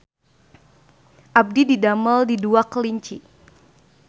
Abdi didamel di Dua Kelinci